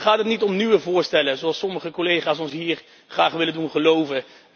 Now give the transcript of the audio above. Dan gaat het niet om nieuwe voorstellen, zoals sommige collega's ons hier graag willen doen geloven.